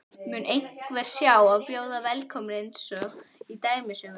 Mun einhver sjá hann og bjóða velkominn einsog í dæmisögunni?